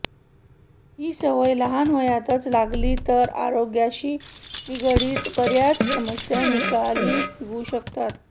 ही सवय लहान वयातच लागली तर आरोग्याशी निगडित बऱ्याच समस्या निकाली निघू शकतात